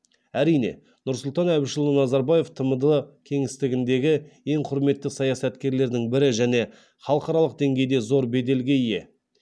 әрине нұрсұлтан әбішұлы назарбаев тмд кеңістігіндегі ең құрметті саясаткерлердің бірі және халықаралық деңгейде зор беделге ие